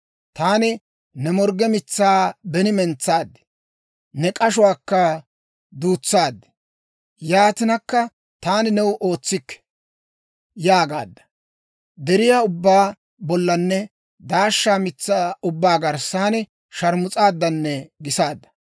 «Taani ne morgge mitsaa beni mentsaad; ne k'ashuwaakka duutsaad. Yaatinakka, ‹Taani new ootsikke› yaagaadda. Deriyaa ubbaa bollanne daashsha mitsaa ubbaa garssan sharmus'aadan gisaadda.